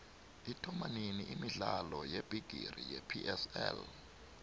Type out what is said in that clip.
ithomanini imidlalo yebigixi yepsl